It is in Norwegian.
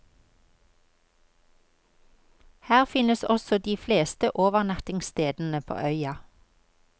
Her finnes også de fleste overnattingsstedene på øya.